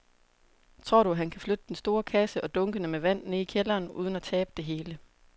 Tror du, at han kan flytte den store kasse og dunkene med vand ned i kælderen uden at tabe det hele?